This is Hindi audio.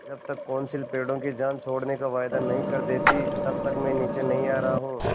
जब तक कौंसिल पेड़ों की जान छोड़ने का वायदा नहीं कर देती तब तक मैं नीचे नहीं आ रहा हूँ